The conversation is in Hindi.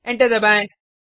एंटर दबाएँ